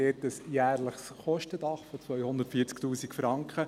Man hat ein jährliches Kostendach von 240’000 Franken.